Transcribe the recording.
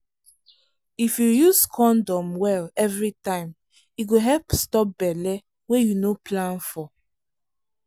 if you use condom well every time e go help stop belle wey you no plan for.